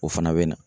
O fana bɛ na